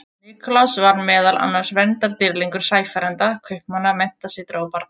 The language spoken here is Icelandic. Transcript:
Nikulás var meðal annars verndardýrlingur sæfarenda, kaupmanna, menntasetra og barna.